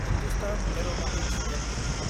Hindustan aeronautics Ltd